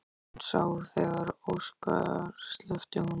Hún sá þegar Óskar sleppti honum.